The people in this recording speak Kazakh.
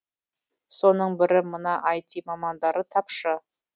соның бірі мына іт мамандары тапшы